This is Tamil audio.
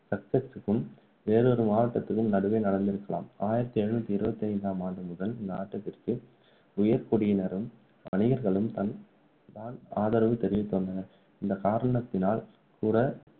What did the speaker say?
சச்செக்சுக்கும் வேறொரு மாவட்டத்துக்கும் நடுவே நடந்திருக்கலாம் ஆயிரத்து எழுநூற்று இருபத்தி ஐந்தாம் ஆண்டு முதல் இந்த ஆட்டத்திற்கு உயர்குடியினரும், வணிகர்களும் தான் ஆதரவு தெரிவித்து வந்தனர். இந்தக் காரணத்தினால் கூட